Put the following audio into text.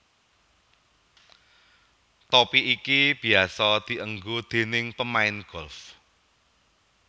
Topi iki biyasa dienggo déning pemain golf